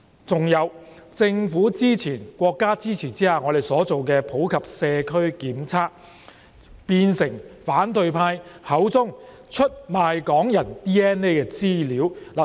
還有，我們在政府及國家支持下進行的普及社區檢測計劃，變成反對派口中的出賣港人的 DNA 資料。